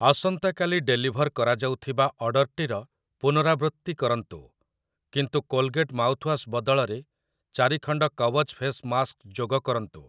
ଆସନ୍ତା କାଲି ଡେଲିଭର୍ କରାଯାଉଥିବା ଅର୍ଡ଼ର୍‌‌ଟିର ପୁନରାବୃତ୍ତି କରନ୍ତୁ, କିନ୍ତୁ କୋଲଗେଟ ମାଉଥ୍‌ୱାଶ୍ ବଦଳରେ ଚାରି ଖଣ୍ଡ କୱଚ୍‌ ଫେସ୍‌ ମାସ୍କ୍‌ ଯୋଗକରନ୍ତୁ ।